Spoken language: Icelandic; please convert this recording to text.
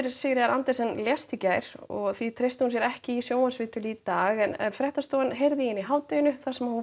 Sigríðar Andersen lést í gær og því treysti hún sér ekki í sjónvarpsviðtöl í dag fréttastofan heyrði í henni í hádeginu þar sem hún